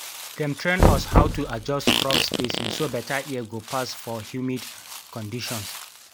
dem train us how to adjust crop spacing so beta air go pass for humid conditions